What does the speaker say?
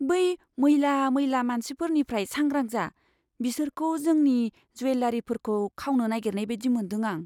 बै मैला मैला मानसिफोरनिफ्राय सांग्रां जा। बिसोरखौ जोंनि ज्वेलारिफोरखौ खावनो नागेरनाय बायदि मोनदों आं।